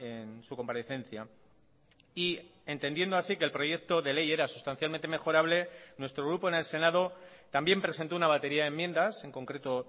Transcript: en su comparecencia y entendiendo así que el proyecto de ley era sustancialmente mejorable nuestro grupo en el senado también presentó una batería de enmiendas en concreto